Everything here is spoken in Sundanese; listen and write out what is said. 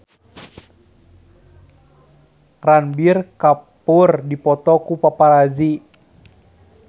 Ranbir Kapoor dipoto ku paparazi